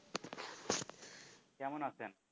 কেমন আছেন?